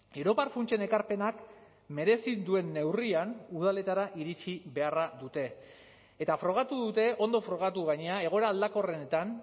europar funtsen ekarpenak merezi duen neurrian udaletara iritsi beharra dute eta frogatu dute ondo frogatu gainera egoera aldakorrenetan